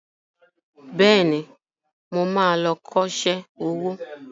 Bẹ́ẹ̀ni, mo ma lọ kọ́ṣẹ́ owó